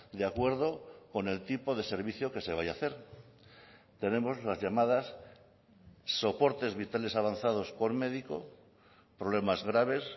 de acuerdo con el tipo de servicio que se vaya a hacer tenemos las llamadas soportes vitales avanzados por médico problemas graves